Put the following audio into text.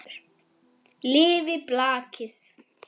Lifi blakið!